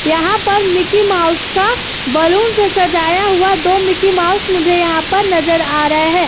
यहाँ पर Mickey Mouse का बलनुस से सजाया हुआ दो मिक्की माउस मुझे यहाँ पर नजर आ रहा है।